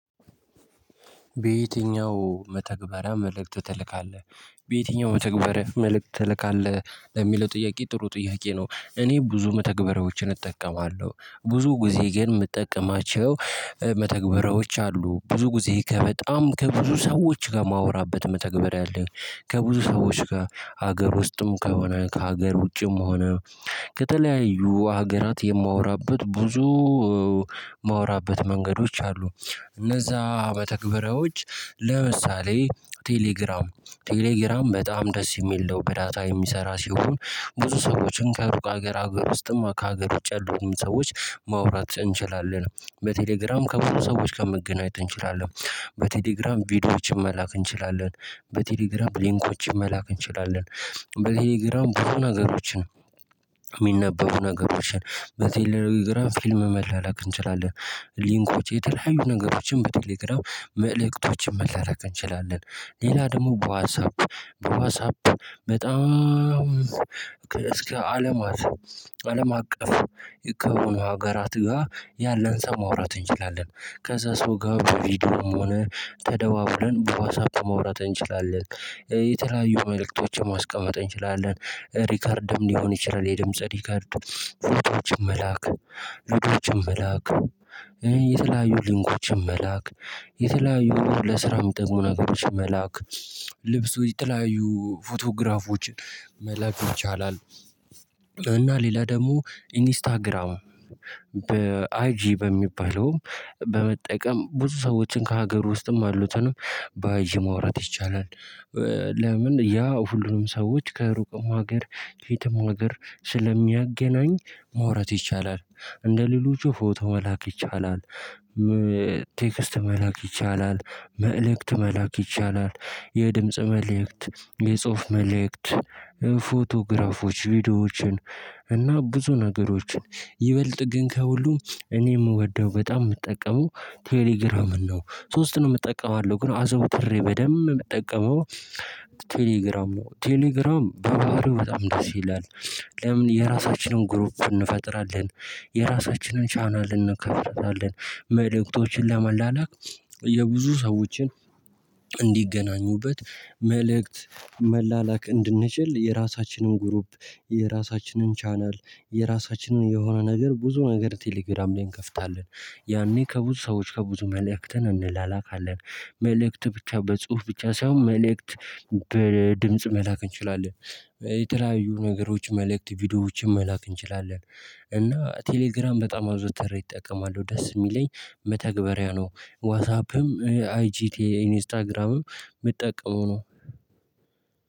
በየትኛው መተግበርያ መልእክት ትልካለህ በየትኛው መተግበርያ መልእክት ትልካለህ? የሚለው ጥያቄ ጥሩ ጥያቄ ነው። እኔ ብዙ መተግበሪያዎችን እጠቀማለሁ ብዙ ጊዜ ግን የምጠቀማቸው መተግበሪያዎች አሉ። ብዙ ጊዜ ከበጣም ከብዙ ሰዎች ጋር ማወራበት መተግበሪያ ያለኝ ከብዙ ሰዎች ጋር ሀገር ውስጥም ከሆነ ከሀገር ውጭም ሆነ ከተለያዩ ሀገራት የማወራበት ብዙ የማወራበት መንገዶች አሉ። እነዛ መተግበሪያዎች ለምሳሌ ቴሌግራም ቴሌግራም በጣም ደስ የሚል ነው። በዳታ የሚሰራ ሲሆን ብዙ ሰዎችን ከሩቅ ሀገር ሀገር ውስጥም ከሀገር ውጭ ያሉትን ሰዎች ማውራት እንችላለን። በቴሌግራም ከብዙ ሰዎች ጋር መገናኘት እንችላለን። በቴሌግራም ቪዲዮዎች መላክ እንችላለን በቴሌግራም ሊንኮች መላክ እንችላለን። በቴሌግራም ብዙ ነገሮችን የሚነበቡ ነገሮችን በቴሌግራም ፊልም መላላክ እንችላለን። ሊንኮች የተለያዩ ነገሮችን በቴሌግራም መልእክቶችን መላላክ እንችላለን። ሌላ ደግሞ በዋትሳፕ በዋትሳፕ በጣም እስከ አለማት አለም አቀፍ የከበሩን ሀገራት ጋር ያለን ሰው ማውራት እንችላለን። ከዛ ሰው ጋር በቪዲዮም ሆነ ተደዋውለን በዋትሳፕ ማውራት እንችላለን። የተለያዩ መልእክቶችን ማስቀመጥ እንችላለን። ሪከርድም ሊሆን ይችላል የድምጽ ሪከርድ ፎቶዎችን መላክ ቪድዮችን መላክ የተለያዩ ሊንኮችን መላክ የተለያዩ ለስራ ሚጠቅሙ ነገሮች መላክ ልብሱ የተለያዩ ፎቶግራፎች መላክ ይቻላል። እና ሌላ ደግሞ ኢንስታግራም በ አይጂ በሚባለውም በመጠቀም ብዙ ሰዎችን ከሀገር ውስጥም አሉትን በአይጂ ማውራት ይቻላል። ለምን ያ ሁሉንም ሰዎች ከሩቅም ሀገር ከየትም ሀገር ስለሚያገናኝ ማውራት ይቻላል። እንደሌሎቹ ፎቶ መላክ ይቻላል። ቴክስት መላክ ይቻላል መልእክት መላክ ይቻላል የድምጽ መልእክት የጽሁፍ መልእክት ፎቶግራፎች ቪዲዮዎችን እና ብዙ ነገሮችን ይበልጥ ግን ከሁሉም እኔ የምወደው በጣም የምጠቀመው ቴሌግራምን ነው። ሶስትንም እጠቀማለው ግን አዘውትሬ በደንብ ምጠቀመው ቴሌግራም ነው። ቴሌግራም በባህሪው በጣም ደስ ይላል። ለምን የራሳችንን ግሩፕ እንፈጥራለን የራሳችንን ቻናል እንከፍታለን መልእክቶችን ለመላላክ የብዙ ሰዎችን እንዲገናኙበት መልእክት መላላክ እንድንችል የራሳችንን ግሩፕ የራሳችንን ቻናል የራሳችንን የሆነ ነገር ብዙ ነገር ቴሌግራም ላይ እንከፍታለን። ያኔ ከብዙ ሰዎች ከብዙ መልእክትን እንላላካለን። መልእክት ብቻ በጽሁፍ ብቻ ሳይሆን መልእክት በድምጽ መላክ እንችላለን። የተለያዩ ነገሮች መልእክት ቪዲዮዎች መላክ እንችላለን። እና ቴሌግራም በጣም አዝወትሬ እጠቀማለው ደስ የሚለኝ መተግበሪያ ነው። ዋትሳፕም አይቺ ኢንስታግራምም ምጠቀመው ነው።